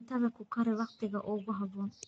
Cuntada ku kari wakhtiga ugu habboon.